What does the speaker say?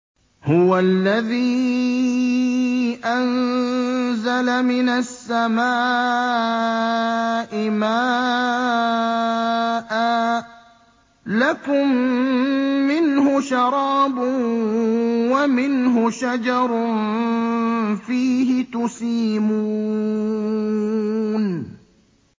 هُوَ الَّذِي أَنزَلَ مِنَ السَّمَاءِ مَاءً ۖ لَّكُم مِّنْهُ شَرَابٌ وَمِنْهُ شَجَرٌ فِيهِ تُسِيمُونَ